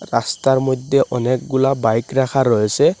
রাস্তার মইধ্যে অনেকগুলা বাইক রাখা রয়েছে।